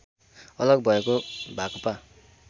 अलग भएको भाकपा